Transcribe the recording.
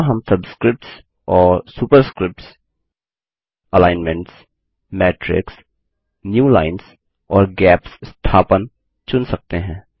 यहाँ हम सबस्क्रिप्ट्स और superscripts alignments matrix new lines और गैप्स स्थापन चुन सकते हैं